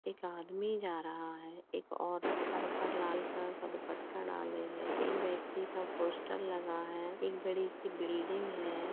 एक आदमी जा रहा है एक औरत सर पर लाल कलर का दुपट्टा डाले है एक व्यक्ति का पोस्टर लगा है एक बड़ी सी बिल्डिंग है।